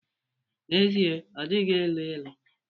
N'ezie, ọ dịghị elu ilu.